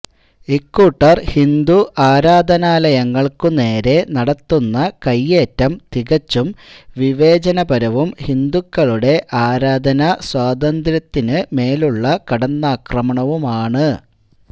ഇക്കൂട്ടര് ഹിന്ദു ആരാധനാലയങ്ങള്ക്കുനേരെ നടത്തുന്ന കൈയേറ്റം തികച്ചും വിവേചനപരവും ഹിന്ദുക്കളുടെ ആരാധനാസ്വാതന്ത്ര്യത്തിനുമേലുള്ള കടന്നാക്രമണവുമാണ്